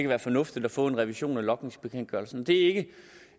være fornuftigt at få en revision af logningsbekendtgørelsen det er ikke